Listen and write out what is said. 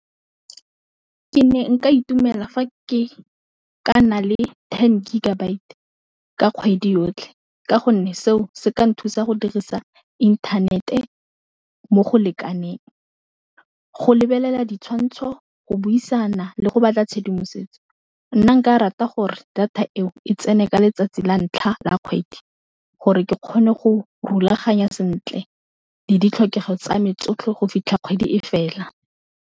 Ke ne nka itumela fa ke ka na le ten gigabyte ka kgwedi yotlhe, ka gonne seo, se ka nthusa go dirisa inthanete mo go lekaneng, go lebelela ditshwantsho, go buisana, le go batla tshedimosetso, nna nka rata gore data eo e tsene ka letsatsi la ntlha la kgwedi, gore ke kgone go rulaganya sentle le ditlhokego tsa me tsotlhe go fitlha kgwedi e fela.